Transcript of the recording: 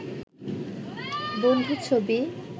বন্ধু ছবি